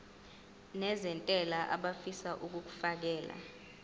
nezentela abafisa uukfakela